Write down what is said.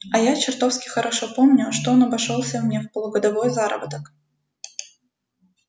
а я чертовски хорошо помню что он обошёлся мне в полугодовой заработок